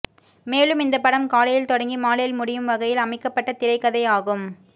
மேலும் இந்த படம் காலையில் தொடங்கி மாலையில் முடியும் வகையில் அமைக்கப்பட்ட திரைக்கதை ஆகும்